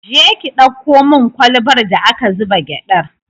Je ki ɗauko min kwalbar da aka zuba gyaɗar!